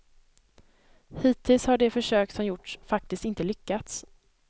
Hittills har de försök som gjorts faktiskt inte lyckats.